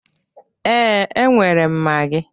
Ee, enwere m magi.